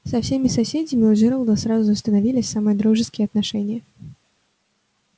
со всеми соседями у джералда сразу установились самые дружеские отношения